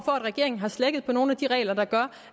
at regeringen har slækket på nogle af de regler der gør